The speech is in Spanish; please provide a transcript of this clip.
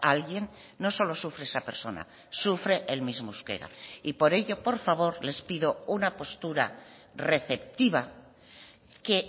alguien no solo sufre esa persona sufre el mismo euskera y por ello por favor les pido una postura receptiva que